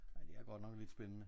Nej det er godt nok lidt spændende